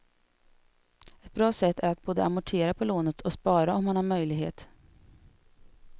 Ett bra sätt är att både amortera på lånet och spara om man har möjlighet.